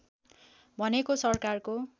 भनेको सरकारको